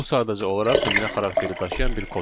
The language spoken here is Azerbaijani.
Bu sadəcə olaraq nümunə xarakteri daşıyan bir koddur.